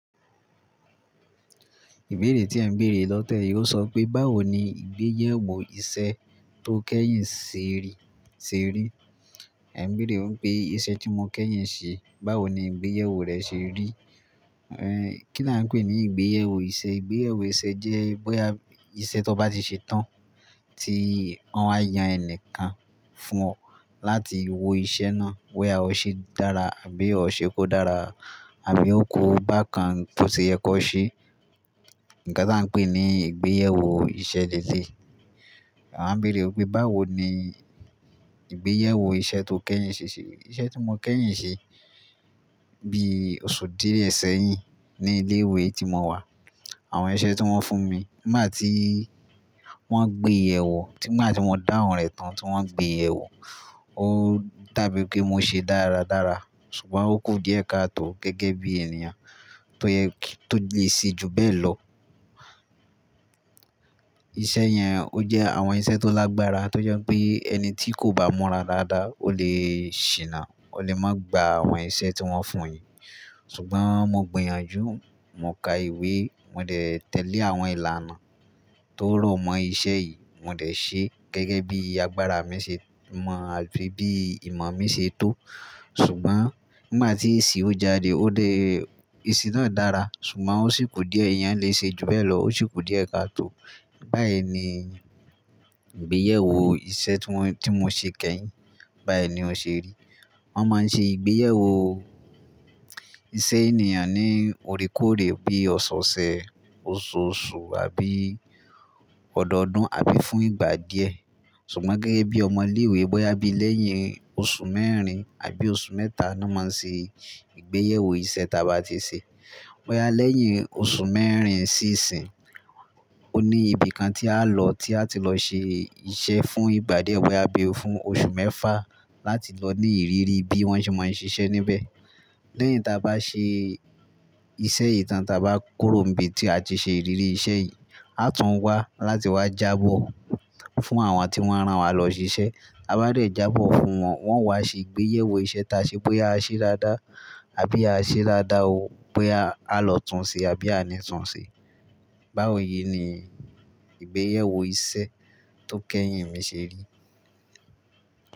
Ìbéèrè tí ẹ ń béèrè lọ́tẹ́ẹ̀ yí ó sọ pé, báwo ni ìgbéyẹwò iṣẹ́ tó kẹ́yìn ṣe rí? Ẹ ń béèrè pé iṣẹ́ tí mo kẹ́yìn ṣe, báwo ni ìgbéyẹwò rẹ̀ ṣe rí? Ẹn, kí ni a ń pè ní ìgbéyẹwò iṣẹ́? Ìgbéyẹwò iṣẹ́ jẹ́ bóyá iṣẹ́ t'ó bá ti ṣe tán tí wọ́n wa yan ẹni kan fún ọ láti wo iṣẹ́ náà bóyá o ṣe dára àbí o ṣe kó dára àbí ó ku bákan b'ó ṣe yẹ kó ó ṣe. Nǹkan tí a ń pè ní ìgbéyẹwò iṣẹ́ ni eléyìí, a ń béèrè pé báwo ni ìgbéyẹwò iṣẹ́ tó kẹ́yìn ṣe rí. Iṣẹ́ tí mo kẹ́yìn ṣe bí oṣù díẹ̀ sẹ́yìn ní ilé ìwé tí mo wà. Àwọn iṣẹ́ tí wọ́n fún mi, nígbà tí wọ́n ń gbéyẹ̀wò, nígbà tí mo dáhùn rẹ̀ tán tí wọ́n ń gbéyẹ̀wò, ó dàbí pé mo ṣe dáradára ṣùgbọ́n ó kù díẹ̀ káa tò gẹ́gẹ́ bí ènìyàn tó yẹ kó tó lè ṣe ju bẹ́ẹ̀ lọ. Iṣẹ́ yẹn ó jẹ́ àwọn iṣẹ́ tó lágbára tó jẹ́ pé ẹni tí kò bá múra dáadáa, ó lè ṣìnà, ó lè má gba àwọn iṣẹ́ tí wọ́n fún. Ṣùgbọ́n mo gbìyànjú, mo ka ìwé, mo dẹ̀ tẹ̀lé àwọn ìlànà tó rọ̀ mọ́ iṣẹ́ yìí, mo dẹ̀ ṣe gẹ́gẹ́ bí agbára mi ṣe mọ̀ àti bí ìmọ̀ mi ṣe tó. Ṣùgbọ́n nígbà tí èsì ó jáde, èsì náà dára ṣùgbọ́n ó sì kù díẹ̀, èèyàn lè ṣe ju bẹ́ẹ̀ lọ, ó sì kù díẹ̀ ká tò. Bẹ́ẹ̀ ni ìgbẹyèwò iṣẹ́ tí mo, tí mo ṣe kẹ́yìn, bayi ni ó ṣe rí. Wọ́n máa ń ṣe ìgbéyẹwò iṣẹ́ ènìyàn ní oríkòrè bí i ọ̀sọ̀ọ̀sẹ̀, oṣooṣù àbí ọ̀dọ̀ọ̀dún àbí fún ìgbà díẹ̀. Ṣùgbọ́n gẹ́gẹ́ bí ọmọ ilé ìwé bóyá bí lẹ́yìn oṣù mẹ́rin àbí oṣù mẹ́ta ni wọ́n máa ń ṣe ìgbéyẹwò iṣẹ́ t'a bá ti ṣe. Bóyá lẹ́yìn oṣù mẹ́rin sí ìsín, ó ní ibi kan tí á lọ, tí a ti lọ ṣe iṣẹ́ fún ìgbà díẹ̀, bóyá bí ó fún oṣù mẹ́fà láti lọ ní ìrírí bí wọ́n ṣe máa ń ṣiṣẹ́ níbẹ̀. Lẹ́yìn tí a bá ṣe iṣẹ́ yi tàn tí a bá kúróǹbi tí a ti ṣe ìrírí iṣẹ́ yìí, a tún wá láti wá jábọ̀ fún àwọn tí wọ́n rán wa lọ ṣiṣẹ́. Taa ba dẹ jábọ̀ fún wọn, wọ́n wá ṣe ìgbéyẹwò iṣẹ́ tí a ṣe bóyá a ṣe dáadáa àbí a ṣe dáadáa ó, bóyá a lọ túnṣe àbí àní túnṣe. Báwo yìí ni ìgbéyèwò iṣẹ́ tó kẹ́yìn mi ṣe rí.